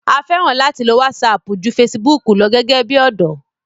a fẹ́ràn láti lo wásapù ju fesibúkù lọ gẹ́gẹ́ bí ọ̀dọ́